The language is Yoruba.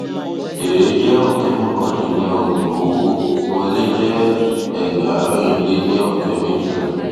èrè jẹ ọkẹ mọkàndínníọgbọn owó wọlé jẹ ẹgbàárin lé ní ọkẹ méjìlá